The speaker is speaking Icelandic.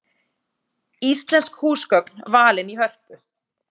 Íslensk húsgögn valin í Hörpu